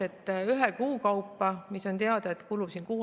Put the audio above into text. On ju teada, kui palju ravimit kulub kuu ajaga.